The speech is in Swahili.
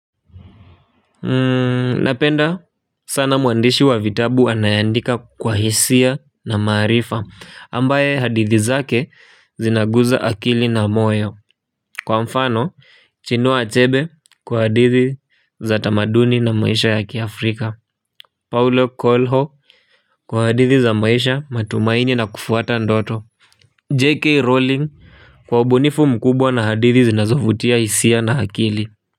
Napenda sana mwandishi wa vitabu anayeandika kwa hisia na maarifa ambaye hadithi zake zinaguza akili na moyo. Kwa mfano Chinua Achebe kwa hadithi za tamaduni na maisha ya kiafrika Paulo Kolho kwa hadithi za maisha matumaini na kufuata ndoto JK Rowling kwa ubunifu mkubwa na hadithi zinazovutia hisia na akili. Kwa hiyo.